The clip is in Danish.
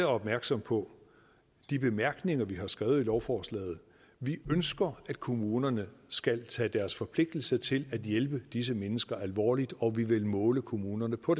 opmærksomme på de bemærkninger vi har skrevet i lovforslaget vi ønsker at kommunerne skal tage deres forpligtelse til at hjælpe disse mennesker alvorligt og vi vil måle kommunerne på